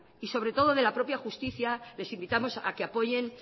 y sobre todo de la propia justicia les invitamos a que apoyen